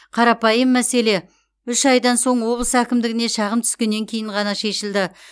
қарапайым мәселе үш айдан соң облыс әкімдігіне шағым түскеннен кейін ғана шешілді